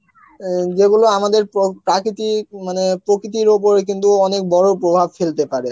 অ্যাঁ যেগুলো আমাদের প্রো~ প্রাকিতিক মানে প্রকিতির ওপরে কিন্তু অনেক বড় প্রভাব ফেলতে পারে